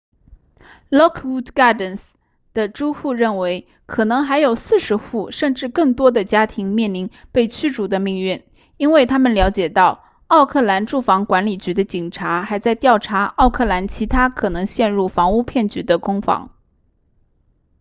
lockwood gardens 的租户认为可能还有40户甚至更多的家庭面临被驱逐的命运因为他们了解到奥克兰住房管理局的警察还在调查奥克兰其他可能陷入房屋骗局的公房